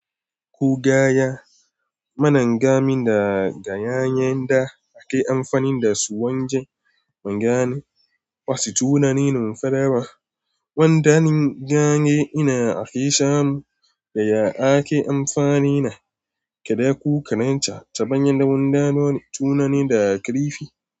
Kugaya, manengami da gayayen da ake amfani dasu wajen wanke wasu tunanin mafarau. Wandanin ganye ina ake samu da ya ake amfani da kada ku karanta ta hanyar dabam da wani tunani da ya karfi.